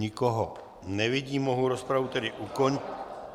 Nikoho nevidím, mohu rozpravu tedy ukončit.